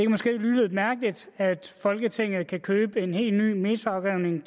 måske lyde lidt mærkeligt at folketinget kan købe en helt ny metroafgrening